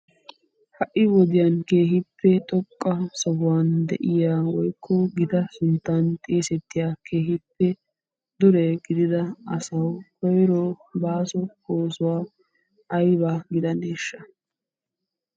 Ha"i wodiyan keehippe xoqqa sohuwan de'iya woykko gita sunttan xeesettiya keehippe dure gidida asawu koyro baaso oosuwa ayba gidaneeshsha?